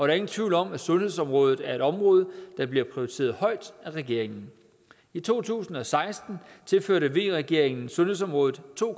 er ingen tvivl om at sundhedsområdet er et område der bliver prioriteret højt af regeringen i to tusind og seksten tilførte v regeringen sundhedsområdet to